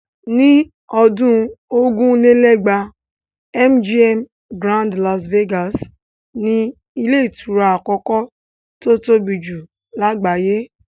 Ní ọdún ogún lé lẹ́gbàá́ MGM Grand Las Vegas ni ilé ìtura àkọ́kọ́ tó tóbi jù lágbàáyé.